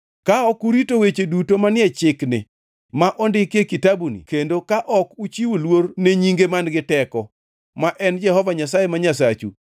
Ka ok urito weche duto manie chikni ma ondiki e kitabuni kendo ka ok uchiwo luor ne nyinge man-gi teko ma en Jehova Nyasaye ma Nyasachu,